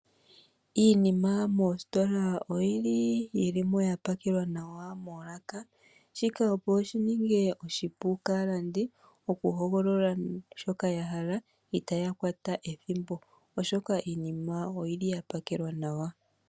Iinima moositola oyi li mo ya pakelwa nawa moolaka. Shika opo shi ninge oshipu kaalandi okuhogolola shoka ya hala itaya kwata ethimbo, oshoka iinima oyi li ya pakelwa nawa.